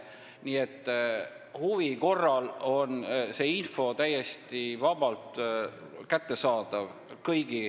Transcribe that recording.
Nii et huvi korral on see info kõigi huviliste jaoks täiesti vabalt kättesaadav.